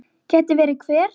Geti verið hver?